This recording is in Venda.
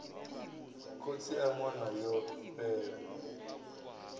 khotsi a ṅwana yo fhela